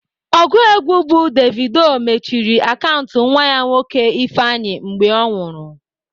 Ọgụ egwu bụ Davido mechiri akaụntụ nwa ya nwoke Ifeanyi mgbe ọ nwụrụ.